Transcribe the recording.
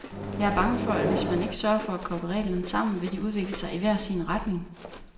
Jeg er bange for, at hvis man ikke sørger for at koble reglerne sammen, vil de udvikle sig i hver sin retning.